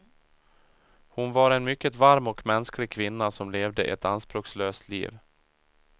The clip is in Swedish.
Hon var en mycket varm och mänsklig kvinna som levde ett anspråkslöst liv.